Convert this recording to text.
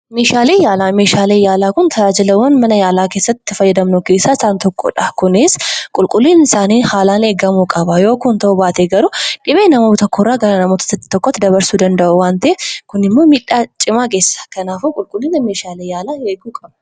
Meeshaalee yaalaa: Meeshaakee yaalaa kun tajaajilawwan mana yaalaa keessatti itti fayyadamnu keessaa isaan tokkodha. Kunis qulquliina isaanii haalaan eegamuu qaba. Yoo kkun ta'uu baate garuu dhibee nama tokoo irra gara nama biraatti dabarsuu danda'u waan ta'eef, kunimmoo miidhaa cimaa geessisa. Kanaafuu qulqullina meeshaalee yaalaa eeguu qabna.